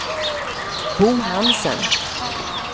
Bo Hansen